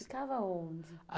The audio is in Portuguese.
Ficava onde?